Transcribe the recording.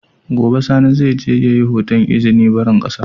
Gobe sani zai je yayi hoton izinin barin ƙasa